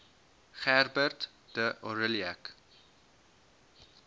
gerbert d aurillac